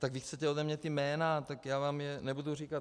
Tak když chcete ode mě ta jména, tak já vám je nebudu říkat.